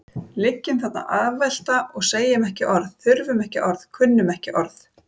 Liggjum þarna afvelta og segjum ekki orð, þurfum ekki orð, kunnum ekki orð.